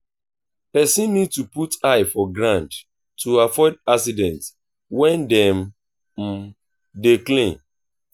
person need to put eye for ground to avoid accident when dem dey clean